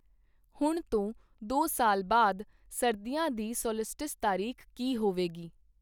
ਹੁਣ ਤੋਂ ਦੋ ਸਾਲ ਬਾਅਦ ਸਰਦੀਆਂ ਦੀ ਸੌਲਸਟਿਸ ਤਾਰੀਖ਼ ਕੀ ਹੋਵੇਗੀ?